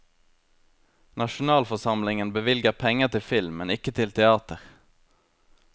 Nasjonalforsamlingen bevilger penger til film, men ikke til teater.